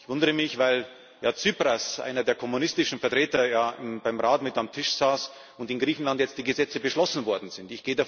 Ich wundere mich, weil Herr Tsipras einer der kommunistischen Vertreter ja beim Rat mit am Tisch saß und in Griechenland jetzt die Gesetze beschlossen worden sind.